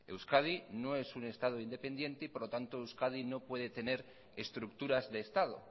euskadi no es un estado independiente y por lo tanto euskadi no puede tener estructuras de estado